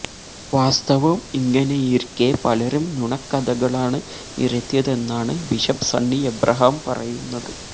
വാസ്തവം ഇങ്ങനെയിരിക്കെ പലരും നുണക്കഥകളാണ് നിരത്തിയതെന്നാണ് ബിഷപ്പ് സണ്ണി എബ്രഹാം പറയുന്നത്